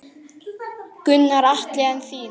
Gunnar Atli: En þín?